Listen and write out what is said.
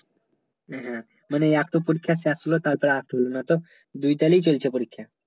হ্যাঁ হ্যাঁ মানে এত পরীক্ষা শেষ হলে তাই তো নয় তো দুই তালেই চলচ্ছে পরীক্ষা